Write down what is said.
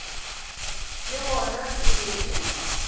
le gona e be e